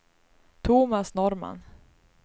Thomas Norrman